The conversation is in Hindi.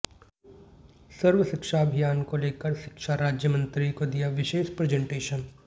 सर्व शिक्षा अभियान को लेकर शिक्षा राज्य मंत्री को दिया विशेष प्रेजेंटेशन